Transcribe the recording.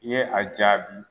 I ye a jaabi .